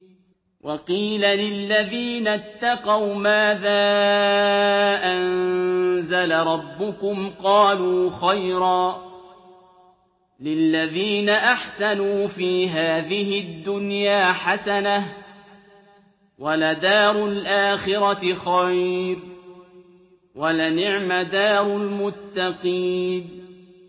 ۞ وَقِيلَ لِلَّذِينَ اتَّقَوْا مَاذَا أَنزَلَ رَبُّكُمْ ۚ قَالُوا خَيْرًا ۗ لِّلَّذِينَ أَحْسَنُوا فِي هَٰذِهِ الدُّنْيَا حَسَنَةٌ ۚ وَلَدَارُ الْآخِرَةِ خَيْرٌ ۚ وَلَنِعْمَ دَارُ الْمُتَّقِينَ